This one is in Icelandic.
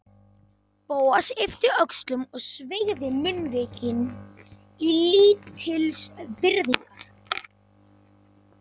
Bóas yppti öxlum og sveigði munnvikin í lítilsvirðingar